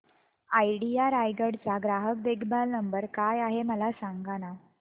idea Raigad चा ग्राहक देखभाल नंबर काय आहे मला सांगाना